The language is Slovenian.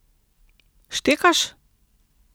Štekaš?